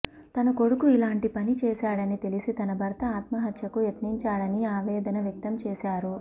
తన కొడుకు ఇలాంటి పని చేశాడని తెలిసి తన భర్త ఆత్మహత్యకు యత్నించాడని ఆవేదన వ్యక్తం చేశారు